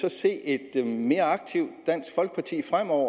at se et mere aktivt dansk folkeparti fremover